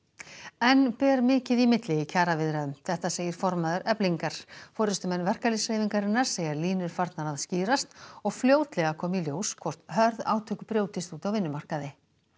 enn ber mikið í milli í kjaraviðræðum þetta segir formaður Eflingar forystumenn verkalýðshreyfingarinnar segja línur farnar að skýrast og fljótlega komi í ljós hvort hörð átök brjótist út á vinnumarkaði